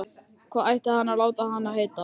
Hvað ætti hann að láta hann heita?